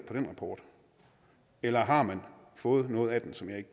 den rapport eller har man fået noget af den som jeg